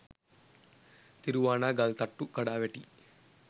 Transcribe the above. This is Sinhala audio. තිරුවානා ගල්තට්ටු කඩා වැටී